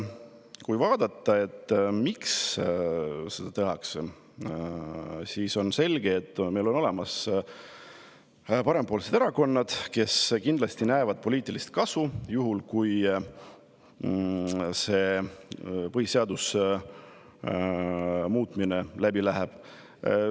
Kui vaadata, miks seda tehakse, siis on selge, et meil on olemas parempoolsed erakonnad, kes kindlasti näevad poliitilist kasu selles, kui see põhiseaduse muutmine läbi läheb.